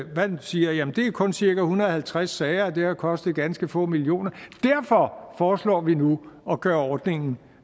siger jamen det er kun cirka en hundrede og halvtreds sager og det har kostet ganske få millioner derfor foreslår vi nu at gøre ordningen